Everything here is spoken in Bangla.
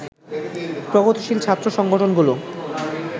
প্রগতিশীল ছাত্র সংগঠনগুলো